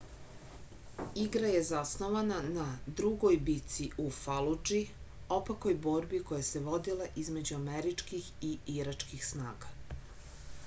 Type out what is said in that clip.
igra je zasnovana na drugoj bici u faludži opakoj borbi koja se vodila između američkih i iračkih snaga